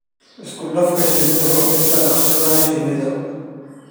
Isku-dhafka Shinnida Kordhinta dhaqashada shinnida.